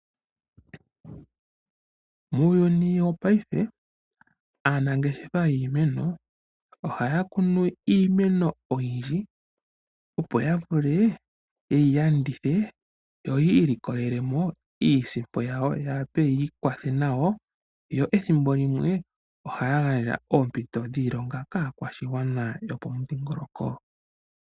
Muuyuni wopaife aanangeshefa yiimeno ohaya kunu iimeno oyindji opo ya vule yeyi landithe yo yi ilikolele mo iisimpo yawo ya wape yii kwathe nayo, yo ethimbo limwe ohaya gandja oompito dhiilonga kaakwashigwana yomomudhingoloko.